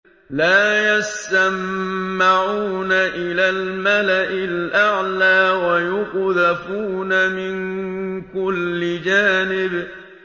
لَّا يَسَّمَّعُونَ إِلَى الْمَلَإِ الْأَعْلَىٰ وَيُقْذَفُونَ مِن كُلِّ جَانِبٍ